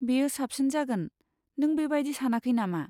बेयो साबसिन जागोन, नों बेबायदि सानाखै नामा?